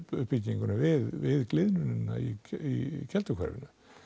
uppbyggingunni við við gliðnunina í í Kelduhverfi